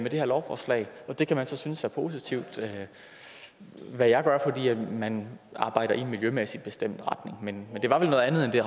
det her lovforslag og det kan man så synes er positivt hvad jeg gør fordi man arbejder i en miljømæssig bestemt retning men det var vel noget andet end det